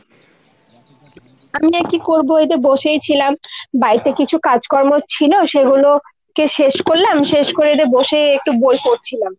আমি আর কী করবো ? এই যে বসেই ছিলাম। বাইতে কিছু কাজকর্ম ছিল সেগুলো কে শেষ করলাম। শেষ করে একটু বসে এই একটু বই পড়ছিলাম।